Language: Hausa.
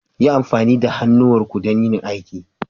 Yi amfani da hannuwanku don yin aiki.